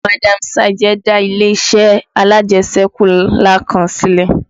Madam Sajẹ dá ilé-iṣẹ́ alajẹṣẹ́kù ńlá kan sílẹ̀